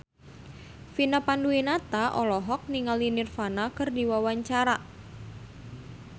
Vina Panduwinata olohok ningali Nirvana keur diwawancara